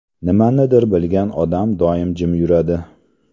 Nimanidir bilgan odam doim jim yuradi .